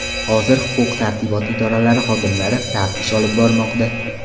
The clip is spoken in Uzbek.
Hozir huquq-tartibot idoralari xodimlari taftish olib bormoqda.